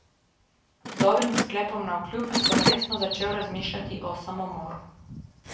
Dobrim sklepom navkljub, sem resno začel razmišljati o samomoru.